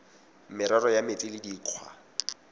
merero ya metsi le dikgwa